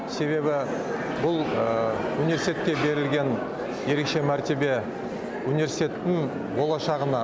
себебі бұл университетке берілген ерекше мәртебе университеттің болашағына